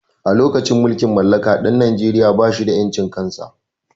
A lokacin mulkin mallaka ɗan najeria ba shi da ƴancin kan sa